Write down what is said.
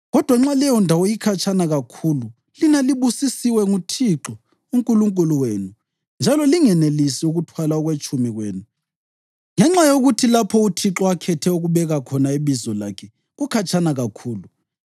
Kodwa nxa leyondawo ikhatshana kakhulu lina libusisiwe nguThixo uNkulunkulu wenu njalo lingenelisi ukuthwala okwetshumi kwenu (ngenxa yokuthi lapho uThixo akhethe ukubeka khona iBizo lakhe kukhatshana kakhulu),